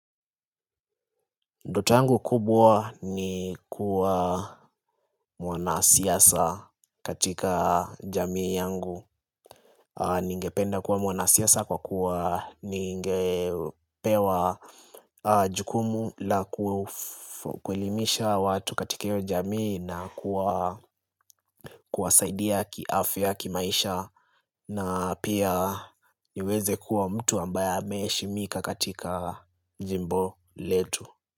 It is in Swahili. Ndota langu kubwa ni kuwa mwana siasa katika jamii yangu. Ni ngependa kuwa mwana siasa kwa kuwa, ni ngepewa jukumu la kuelimisha watu katika hiyo jamii na kuwasaidia kiafya kimaisha na pia niweze kuwa mtu ambaye ame heshimika katika jimbo letu.